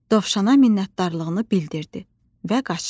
Dovşana minnətdarlığını bildirdi və qaçdı.